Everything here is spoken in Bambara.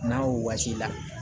N'a wosi la